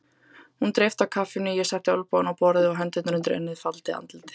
Hún dreypti á kaffinu, ég setti olnbogana á borðið og hendurnar undir ennið, faldi andlitið.